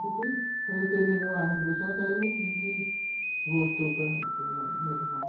Depois, quando terminou a revolução, a gente voltou para o normal